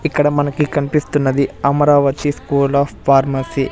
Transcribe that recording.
ఇక్కడ మనకి కనిపిస్తున్నది అమరావతి స్కూల్ ఆఫ్ ఫార్మసీ .